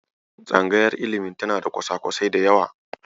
tsangayar ilimi tana da kwasa-kwasai da yawa.